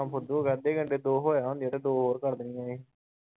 ਹੋਗਿਆ ਅੱਧੇ ਘੰਟੇ ਦੋ ਹੋਇਆ ਹੁੰਦਿਆ ਦੋ ਹੋਰ ਕਰ ਦੇਣੀਆਂ‌ ਸੀ।